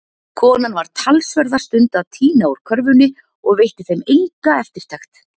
Konan var talsverða stund að tína úr körfunni og veitti þeim enga eftirtekt.